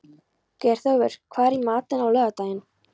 Geirþjófur, hvað er í matinn á laugardaginn?